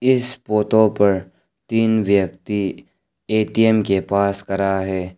इस पोटो पर तीन व्यक्ति ए_टी_एम के पास करा हैं।